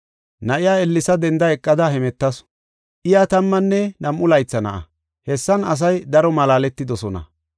Na7iya ellesa denda eqada hemetasu. Iya tammanne nam7u laytha na7a. Hessan asay daro malaaletidosona.